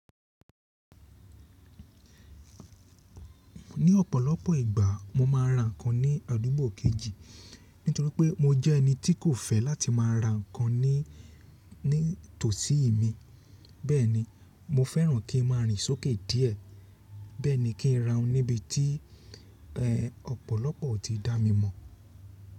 Ní ọ̀pọ̀lọpọ̀ ìgbà mo ma n ra nǹkan ní àdúgbò kejì nítorí pé mo jẹ́ ẹni tí kò fẹ́ láti máa ra nǹkan ní tòsí mi, bẹ́ẹ̀ni mo fẹ́ràn kí n máa rìn sókè díẹ̀, bẹ́ẹ̀ni kí n ra oun níbi tí ọ̀pọ̀lọpọ̀ ò tí dá mi mọ̀.